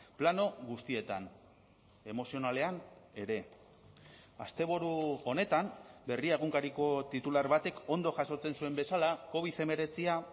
plano guztietan emozionalean ere asteburu honetan berria egunkariko titular batek ondo jasotzen zuen bezala covid hemeretzia